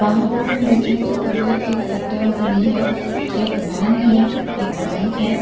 बाहर को हम देखें तो इधर एक एक्टिवा खड़ी है एक वेन है एक बाइक है।